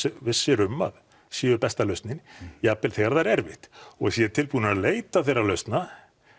vissir um að séu besta lausnin jafnvel þegar það er erfitt og séu tilbúnir til að leita þeirra lausna